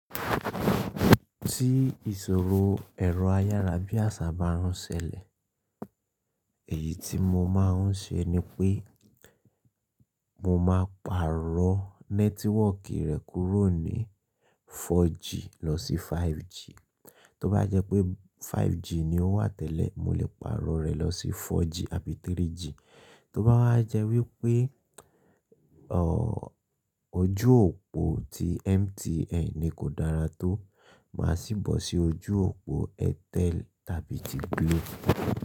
Tí ìṣòro ẹ̀rọ ayárabíàṣá bá ń rọnsẹ́lẹ̀, èyí tí mo máa ń ṣe ni pé mo máa pàrọ̀ nẹ́tíwọ̀kì rẹ̀ kúrò ní 4G lọ sí 5G. Tó bá jẹ́ pé 5G ni ó wà tẹ́lẹ̀, mo lè pàrọ̀ rẹ̀ lọ sí 4G àbí 3G. Tó bá wá jẹ́ wípé, ojú òpó ti MTN ni kò dára tó, màá sì bọ́ sí ojú òpó Airtel tàbí ti Glo.